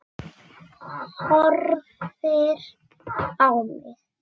Horfir á mig.